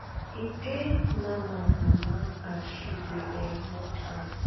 e pain naama mama as she dey um watch am